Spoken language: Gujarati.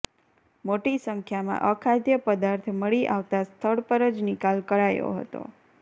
મોટી સંખ્યામાં અખાદ્ય પદાર્થ મળી આવતા સ્થળ પર જ નિકાલ કરાયો હતો